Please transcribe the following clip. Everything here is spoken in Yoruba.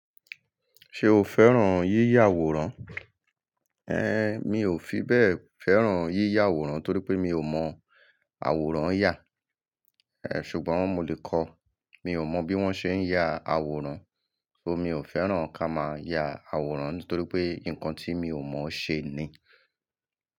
Ṣé o fẹ́ràn yíyà àwòrán? Ẹ̀, mi ò fi bẹ́ẹ̀ fẹ́ràn yíyà àwòrán torí pé mi ò mọ̀ àwòrán yà. Ẹ̀, ṣùgbọ́n mo lè kọ́. Mi ò mọ bí wón ṣe ń ya àwòrán, ṣó mi ò fẹ́ràn ká máa ya àwòrán nítorí pé nǹkan tí mi ò mọ̀ ṣe ni.